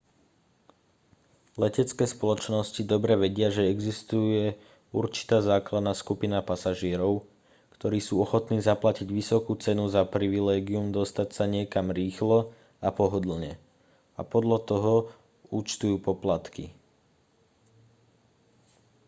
letecké spoločnosti dobre vedia že existuje určitá základná skupina pasažierov ktorí sú ochotní zaplatiť vysokú cenu za privilégium dostať sa niekam rýchlo a pohodlne a podľa toho účtujú poplatky